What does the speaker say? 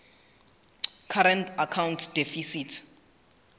current account deficit